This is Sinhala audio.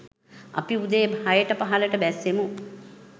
අපි උදේ හයට පහළට බැස්සෙමු